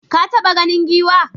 Ka taɓa ganin giwa?